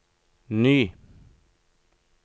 ny